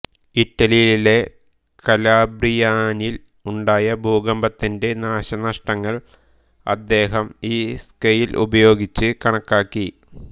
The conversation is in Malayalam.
ഇറ്റലിയിലെ കലാബ്രിയാനിൽ ഉണ്ടായ ഭൂകമ്പത്തിന്റെ നാശനഷ്ടങ്ങൾ അദ്ദേഹം ഈ സ്കെയിൽ ഉപയോഗിച്ച് കണക്കാക്കി